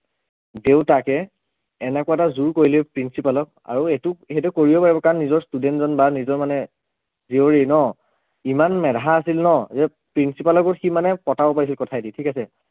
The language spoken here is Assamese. দেউতাকে এনেকুৱা এটা জোৰ কৰিলে principal ক আৰু এইটোক সেইটো কৰিব পাৰিব কাৰণ নিজৰ student জন বা নিজৰ মানে জীয়ৰী ন ইমান মেধা আছিল ন যে principal কো সি মানে পতাব পাৰিছিল কথাইদি ঠিক আছে